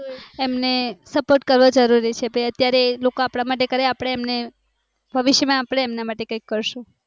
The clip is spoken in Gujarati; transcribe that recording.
એમને support કરવો જરૂરી છે અત્યારે એ લોકો આપણા માટે કરે આપણે એમને ભવિષ્ય માં આપણે એમના માટે કૈક કરશું